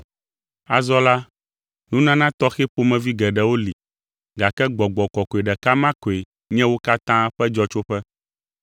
Azɔ la, nunana tɔxɛ ƒomevi geɖewo li gake Gbɔgbɔ Kɔkɔe ɖeka ma koe nye wo katã ƒe dzɔtsoƒe.